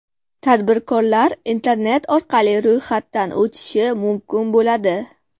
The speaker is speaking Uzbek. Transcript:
Tadbirkorlar internet orqali ro‘yxatdan o‘tishi mumkin bo‘ladi.